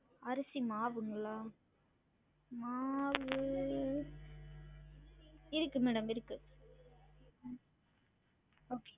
அரிசி மாவுங்களா? மாவு இருக்கு madam இருக்கு உம் okay